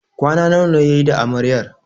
Kwana nawa yayi da Amaryar?